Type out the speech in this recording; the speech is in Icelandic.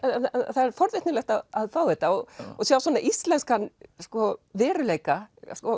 það er forvitnilegt að fá þetta og sjá svona íslenskan veruleika